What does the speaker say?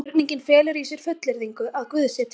Spurningin felur í sér fullyrðingu: Að guð sé til.